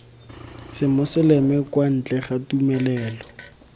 semoseleme kwa ntle ga tumelelo